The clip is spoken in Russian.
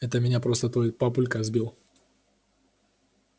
это меня просто твой папулька сбил